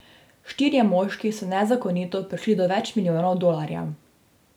Štirje moški so nezakonito prišli do več milijonov dolarjev.